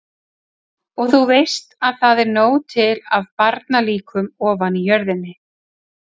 Og þú veist að það er nóg til af barnalíkum ofan í jörðinni.